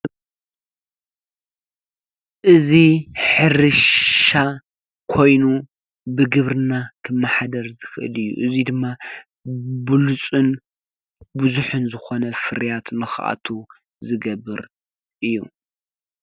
እዚ ሕርሻ ኮይኑ ብግብርና ክመሓደር ዝክእል እዩ። እዙይ ድማ ብሉፅን ብዙሕን ዝኮነ ፍርያት ንክኣቱ ዝገብር እዩ።